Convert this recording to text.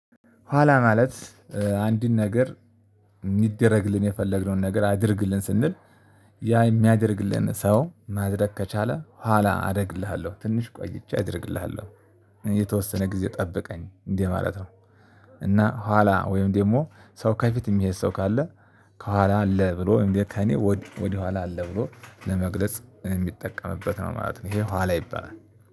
ኋላ ማለት አንድን ነገር የሚደረግልን የፈለግነውን ነገር አድርግልን ስንል ያ የሚያደርግልን ሰው ማድረግ ከቻለ ኋላ አደርግልሃለሁ ትንሽ ቆይቼ አደርግልሃለሁ የተወሰነ ጊዜ ጠበቀኝ እንዲ ማለት ነው። እና ኋላ ወይም ደግሞ ሰው ከፊት የሚሄድ ሰው ካለ ከኋላ አለ ብሎ ከእኔ ወደ ኋላ አለ ብሎ ለመግለጽ የሚጠቀምበት ነው ማለት ነው። ይሄ ኋላ ይባላል።